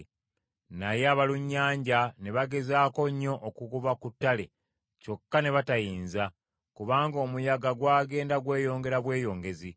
Naye abalunnyanja ne bagezaako nnyo okugoba ku ttale, kyokka ne batayinza, kubanga omuyaga gwagenda gweyongera bweyongezi.